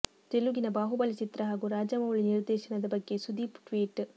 ತೆಲುಗಿನ ಬಾಹುಬಲಿ ಚಿತ್ರ ಹಾಗೂ ರಾಜಮೌಳಿ ನಿರ್ದೇಶನದ ಬಗ್ಗೆ ಸುದೀಪ್ ಟ್ವೀಟ್